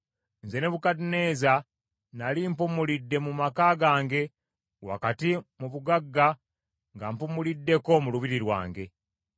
Nze Nebukadduneeza, nnali mpumulidde mu maka gange wakati mu bugagga nga mpumuliddeko mu lubiri lwange.